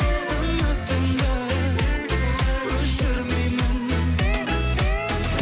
үмітімді өшірмеймін